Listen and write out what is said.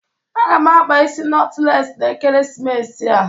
Aga m akpa isi notles na ekeresimesi a.